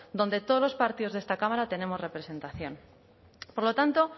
donde todos los partidos de esta cámara tenemos representación por lo tanto